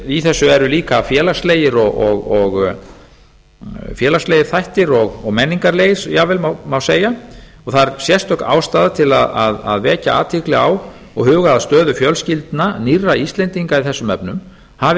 í þessu eru líka félagslegir þættir og menningarlegir jafnvel má segja og það er sérstök ástæða til að vekja athygli á og huga að huga að stöðu fjölskyldna nýrra íslendinga í þessum efnum hafi